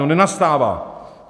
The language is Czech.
No nenastává.